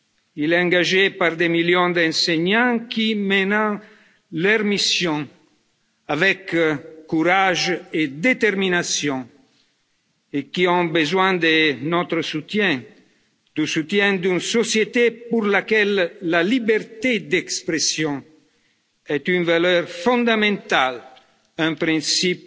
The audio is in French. Il est engagé par des millions d'enseignants, qui mènent leur mission avec courage et détermination, et qui ont besoin de notre soutien, du soutien d'une société pour laquelle la liberté d'expression est une valeur fondamentale et un principe